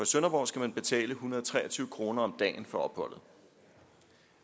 sønderborg skal man betale en hundrede og tre og tyve kroner om dagen for opholdet